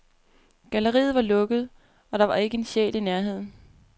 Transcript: Galleriet var lukket, og der var ikke en sjæl i nærheden.